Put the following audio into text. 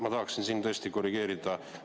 Ma tahaksin siin tõesti korrigeerida.